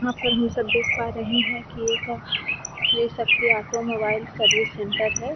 यहाँ पर हम सब देख पा रहे कि एक Shri Shakti automobile service centre है ।